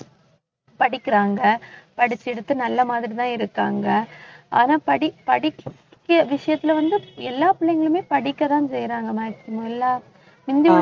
படிக்கிறாங்க படிச்சு எடுத்து, நல்ல மாதிரிதான் இருக்காங்க ஆனா படி படி படிக்~ விஷயத்துல வந்து எல்லா பிள்ளைங்களுமே படிக்கதான் செய்யறாங்க maximum எல்லா முந்தியுள்ள